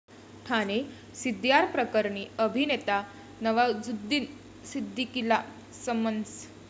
ठाणे सीडीआरप्रकरणी अभिनेता नवाजुद्दीन सिद्दीकीला समन्स